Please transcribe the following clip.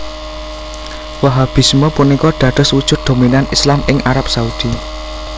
Wahhabisme punika dados wujud dominan Islam ing Arab Saudi